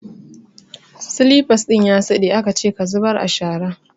Slippers din da ya siɗe akace ka zubar a shara!